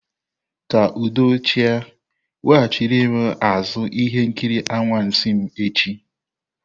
Kaa udo achị a, weghachiri m azụ ihe nkiri anwansi m echi!